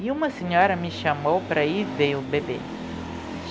E uma senhora me chamou para ir ver o bebê.